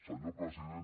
senyor president